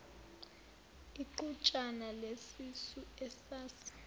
iqhutshana lesisu esase